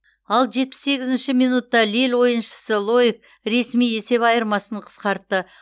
ал жетпіс сегізінші минутта лилль ойыншысы лоик ресми есеп айырмасын қысқартты